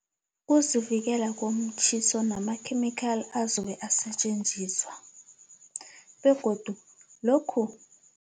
Ukuzivikela komtjhiso namakhemikhali azobe asetjenziswa begodu lokhu